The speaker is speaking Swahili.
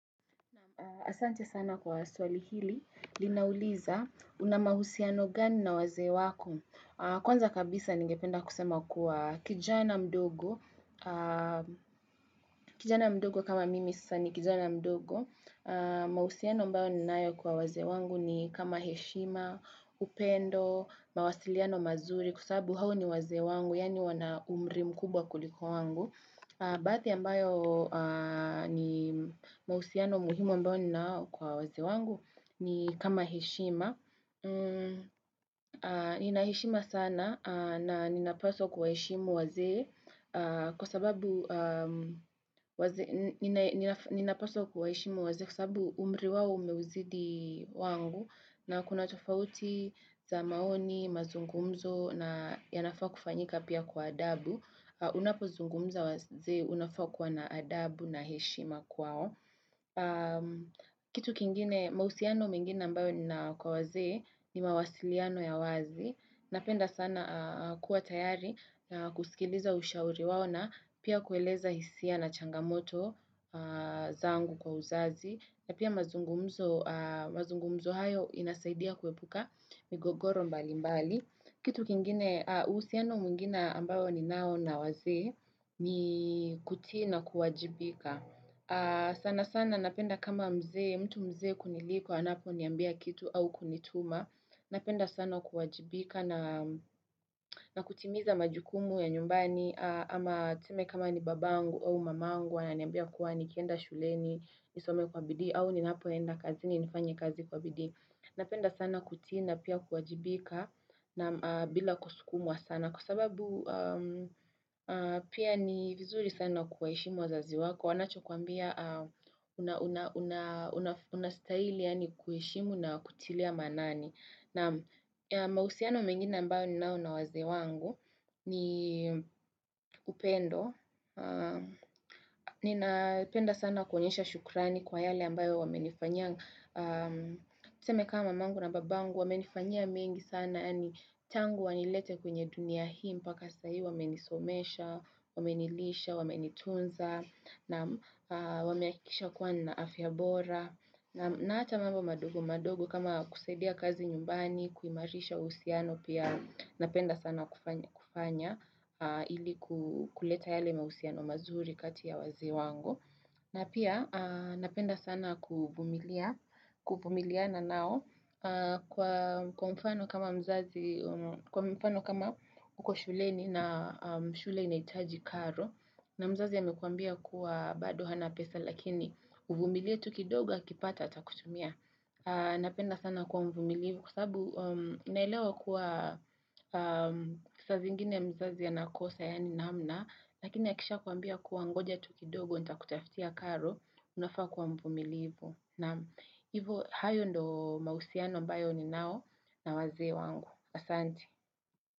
Asante sana kwa swali hili. Linauliza una mahusiano gani na wazee wako. Kwanza kabisa ningependa kusema kuwa kijana mdogo. Kijana mdogo kama mimi sasa ni kijana mdogo. Mahusiano ambayo ninayo kwa wazee wangu ni kama heshima, upendo, mawasiliano mazuri kwa sababu hao ni wazee wangu. Yaani wana umri mkubwa kuliko wangu. Baadhi ambayo ni mahusiano muhimu ambao ninao kwa wazee wangu ni kama heshima. Nina heshima sana na ninapaswa kuwaheshimu wazee kwa sababu waze ninapaswa kuwaheshimu wazee kwa sababu umri wao umeuzidi wangu na kuna tofauti za maoni, mazungumzo na yanafaa kufanyika pia kwa adabu. Unapozungumza wazee unafaa kuwa na adabu na heshima kwao kitu kingine mahusiano mengine ambayo nina kwa wazee ni mawasiliano ya wazi Napenda sana kuwa tayari na kusikiliza ushauri wao na pia kueleza hisia na changamoto zangu kwa uzazi na pia mazungumzo hayo inasaidia kuepuka migogoro mbali mbali kitu kingine, uhusiano mwingina ambao ninao na wazee ni kutii na kuwajibika. Sana sana napenda kama mzee, mtu mzee kuniliko anaponiambia kitu au kunituma. Napenda sana kuwajibika na na kutimiza majukumu ya nyumbani ama tuseme kama ni babangu au mamangu ananiambia kuwa nikienda shuleni, nisome kwa bidii au ninapoenda kazini nifanye kazi kwa bidii. Napenda sana kutii na pia kuwajibika na bila kusukumwa sana Kwa sababu pia ni vizuri sana kuwaheshimu wazazi wako Wanachokwambia unastaili yaani kuheshimu na kutilia maanani Naam mahusiano mengine ambayo ninao na wazee wangu ni upendo Ninapenda sana kuonyesha shukrani kwa yale ambayo wamenifanyia Tuseme kama mamangu na babangu wamenifanyia mengi sana yaani tangu wanilete kwenye dunia hii mpaka sahii wamenisomesha, wamenilisha, wamenitunza Naam wamehakikisha kuwa nina afya bora na hata mambo madogo madogo kama kusadia kazi nyumbani kuimarisha uhusiano pia napenda sana kufanya kufanya Ili ku kuleta yale mahusiano mazuri kati ya wazee wangu na pia napenda sana kuvumilia kuvumiliana nao kwa mfano kama mzazi, kwa mfano kama uko shuleni na shule inahitaji karo na mzazi amekwambia kuwa bado hana pesa lakini uvumilie tu kidogo akipata atakutumia. Napenda sana kuwa mvumilivu kwa sababu naelewa kuwa saa zingine mzazi anakosa yaani namna Lakini akishakuambia kuwa ngoja tu kidogo nitakutafutia karo Unafaa kuwa mvumilivu naam Hivo hayo ndo mahusiano ambayo ninao na wazee wangu Asante.